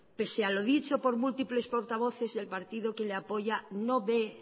pese a lo dicho por múltiples portavoces del partido quien le apoya no ve